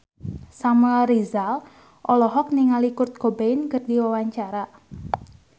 Samuel Rizal olohok ningali Kurt Cobain keur diwawancara